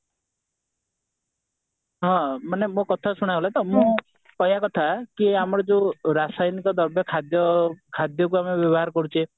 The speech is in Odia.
ହଁ ମାନେ ମୋ କଥା ଶୁଣାଗଲା ତ ମୋ କହିବା କଥା କି ଆମର ଯୋଉ ରାସାୟନିକ ଦ୍ରବ୍ୟ ଖାଦ୍ୟ ଖାଦ୍ୟ କୁ ଆମେ ବ୍ୟବହାର କରୁଚେ